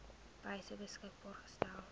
wyse beskikbaar gestel